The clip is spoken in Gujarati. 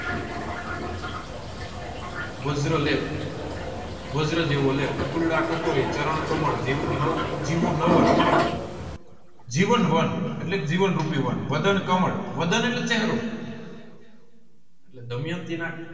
વજ્ર લેપ વાજ્ર જેવો લેપ ફૂલડાં કટોરી ચરણકમળ જીવ નાઉ જીવનવન જીવન વેન એટલે જીવન રૂપી વેન વળાંકમળ વાળં એટલે ચેહરો દમયંતીના